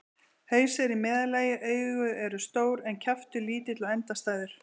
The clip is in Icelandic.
Haus er í meðallagi, augu eru stór en kjaftur lítill og endastæður.